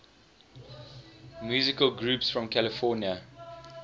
musical groups from california